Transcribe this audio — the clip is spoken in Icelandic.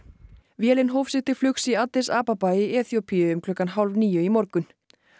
vélin hóf sig til flugs í Addis Ababa í Eþíópíu um klukkan hálf níu í morgun